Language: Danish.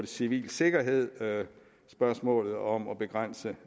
civil sikkerhed og spørgsmålet om at begrænse